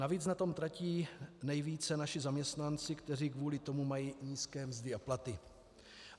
Navíc na tom tratí nejvíce naši zaměstnanci, kteří kvůli tomu mají nízké mzdy a platy.